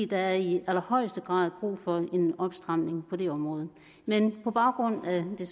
der er i allerhøjeste grad brug for en opstramning på det område men på baggrund af det